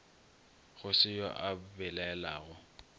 go se yo a belaelago